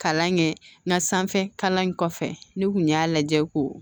Kalan kɛ na sanfɛ kalan in kɔfɛ ne kun y'a lajɛ k'o